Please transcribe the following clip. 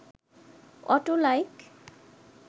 auto like